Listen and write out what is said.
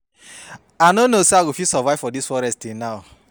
I no know say I go fit survive for dis forest till now